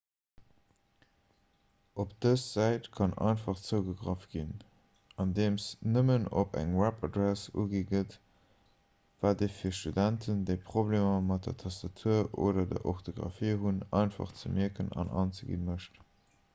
op dës säit kann einfach zougegraff ginn andeem nëmmen eng webadress ugi gëtt wat et fir studenten déi problemer mat der tastatur oder der orthographie hunn einfach ze mierken an anzegi mécht